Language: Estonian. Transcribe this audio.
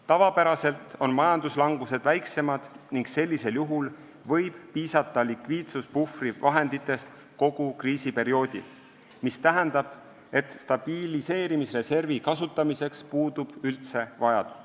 Tavapäraselt on majanduslangused väiksemad ning sellisel juhul võib piisata likviidsuspuhvri vahenditest kogu kriisiperioodil, mis tähendab, et stabiliseerimisreservi kasutamiseks puudub üldse vajadus.